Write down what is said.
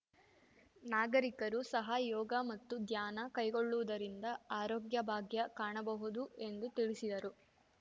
ನಾಗರಿಕರು ಸಹ ಯೋಗ ಮತ್ತು ಧ್ಯಾನ ಕೈಗೊಳ್ಳುವುದರಿಂದ ಆರೋಗ್ಯ ಭಾಗ್ಯ ಕಾಣಬಹುದು ಎಂದು ತಿಳಿಸಿದರು